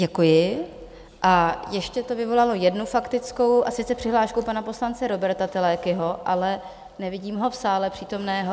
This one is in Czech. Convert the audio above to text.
Děkuji a ještě to vyvolalo jednu faktickou, a sice přihlášku pana poslance Róberta Telekyho, ale nevidím ho v sále přítomného.